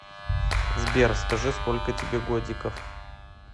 сбер скажи сколько тебе годиков